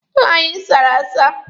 Paalọ anyị sara asa.